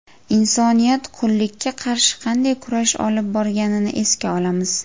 Insoniyat qullikka qarshi qanday kurash olib borganini esga olamiz.